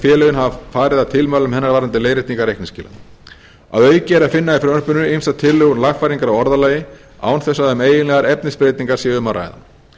félögin hafa farið að tilmælum hennar varðandi leiðréttingar reikningsskila að auki er að finna í frumvarpinu ýmsar tillögur um lagfæringar á orðalagi án þess að um eiginlegar efnisbreytingar sé að ræða